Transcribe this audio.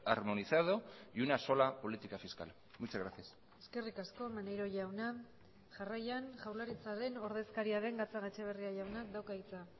armonizado y una sola política fiscal muchas gracias eskerrik asko maneiro jauna jarraian jaurlaritzaren ordezkaria den gatzagaetxebarria jaunak dauka hitza